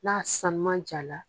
N'a sanunman ja la